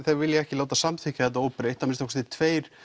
þau vilji ekki samþykkja þetta óbreytt og að minnsta kosti tveir